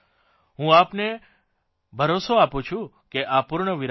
હું આપને ભરોસો આપું છું કે આ પૂર્ણવિરામ નથી